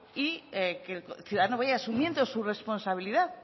y que el ciudadano vaya asumiendo su responsabilidad